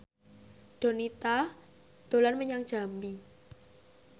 Donita dolan menyang Jambi